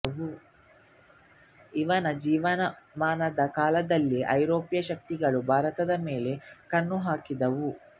ಇವನ ಜೀವಮಾನದ ಕಾಲದಲ್ಲೇ ಐರೋಪ್ಯ ಶಕ್ತಿಗಳು ಭಾರತದ ಮೇಲೆ ಕಣ್ಣುಹಾಕಿದ್ದುವು